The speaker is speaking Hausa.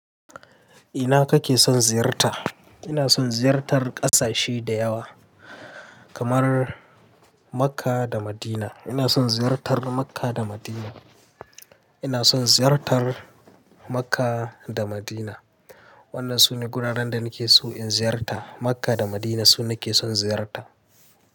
Ina kake son ziyarta? Ina son ziyartar ƙasashe da yawa kamar Makka da Madina. Ina son ziyartar Makka da Madina. Ina son ziyartar Makka da Madina. Wannan sune guraren da nake so in ziyarta. Makka da Madina su nake son ziyarta.